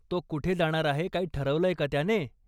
तो कुठे जाणार आहे काही ठरवलंय का त्याने?